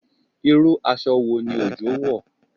Irú aṣọ wo ni Ojo wọ̀?